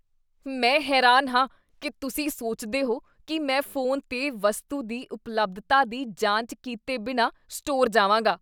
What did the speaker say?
ਮੈਂ ਹੈਰਾਨ ਹਾਂ ਕੀ ਤੁਸੀਂ ਸੋਚਦੇ ਹੋ ਕੀ ਮੈਂ ਫੋਨ 'ਤੇ ਵਸਤੂ ਦੀ ਉਪਲੱਬਧਤਾ ਦੀ ਜਾਂਚ ਕੀਤੇ ਬਿਨਾਂ ਸਟੋਰ ਜਾਵਾਂਗਾ।